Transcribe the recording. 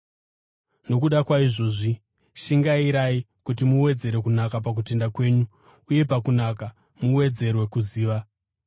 Nokuda kwaizvozvi, shingairai kuti muwedzere kunaka pakutenda kwenyu; uye pakunaka, muwedzere kuziva;